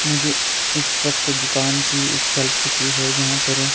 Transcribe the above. मुझे इस वक्त दुकान की एक शेल्फ दिख रही है जहां पर--